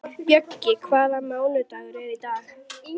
Bjöggi, hvaða mánaðardagur er í dag?